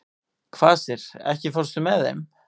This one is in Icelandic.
Kvasir, ekki fórstu með þeim?